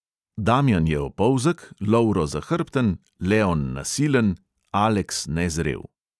Damjan je opolzek, lovro zahrbten, leon nasilen, aleks nezrel.